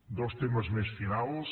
dos temes més finals